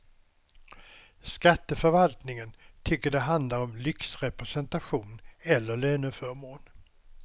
Skatteförvaltningen tycker det handlar om lyxrepresentation eller löneförmån.